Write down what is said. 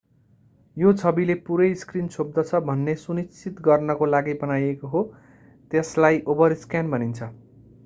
यो छविले पूरै स्क्रिन छोप्दछ भन्ने सुनिश्चित गर्नको लागि बनाइएको हो त्यसलाई ओभरस्क्यान भनिन्छ